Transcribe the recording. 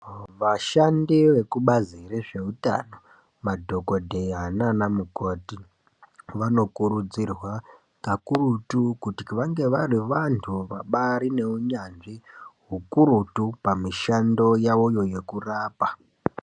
Vashandi vekubazi rezveutano madhokodheya naanamukoti vanokurudzirwa kakurutu kuti vange vari vantu vabari neunyanzvi ukurutu pamishando yavoyo yekurapa.